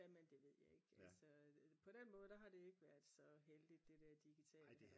jamen det ved jeg ikke altså på den måde der har det ikke været så heldigt det der digitale